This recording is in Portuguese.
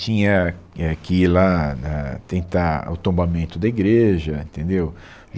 Tinha é, que ir lá na tentar o tombamento da igreja, entendeu?